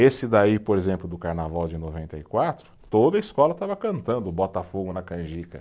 Esse daí, por exemplo, do Carnaval de noventa e quatro, toda a escola estava cantando o Botafogo na Canjica.